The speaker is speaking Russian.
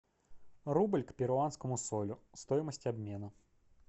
рубль к перуанскому солю стоимость обмена